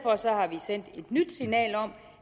har vi sendt et nyt signal om